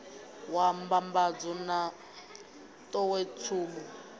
wa mbambadzo na n ḓowetsumo